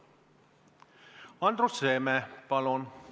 Andrus Seeme, palun!